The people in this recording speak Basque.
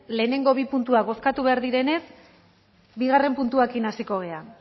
lehenengo bi puntuak bozkatu behar direnez bigarren puntuarekin hasiko gara